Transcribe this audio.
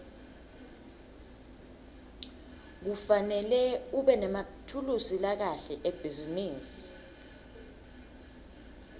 kufanele ubenemathulusi lakahle ebhizinisi